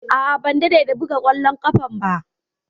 A'a, ban dade da buga ƙwallon ƙafa ba.